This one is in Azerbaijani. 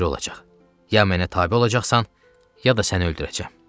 Ya mənə tabe olacaqsan, ya da səni öldürəcəm.